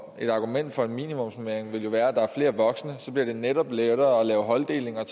et argument for en minimumsnormering vil jo være at der er flere voksne og så bliver det netop lettere at lave holddeling og